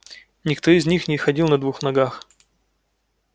никто из них не ходил на двух ногах